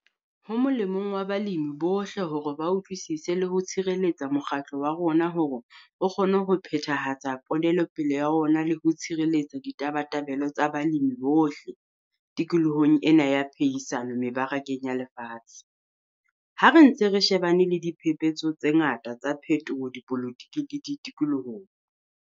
Ho molemong wa balemi bohle hore ba utlwisise le ho tshireletsa mokgatlo wa rona hore o kgone ho phethahatsa ponelopele ya ona le ho tshireletsa ditabatabelo tsa balemi bohle tikolohong ena ya phehisano mebarakeng ya lefatshe, ha re ntse re shebane le diphephetso tse ngata tsa phetoho dipolotiking le tikolohong.